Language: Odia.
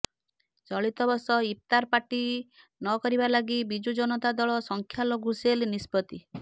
ଚଳିତବର୍ଷ ଇଫ୍ତାର ପାର୍ଟି ନକରିବା ଲାଗି ବିଜୁ ଜନତା ଦଳ ସଂଖ୍ୟାଲଘୁ ସେଲ୍ ନିଷ୍ପତ୍ତି